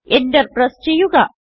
Enter press ചെയ്യുക